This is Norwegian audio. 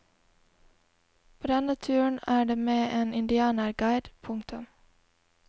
På denne turen er det med en indianerguide. punktum